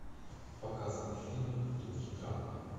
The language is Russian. показывай фильмик в духе драмы